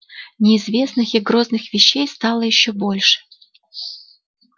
неизвестных и грозных вещей стало ещё больше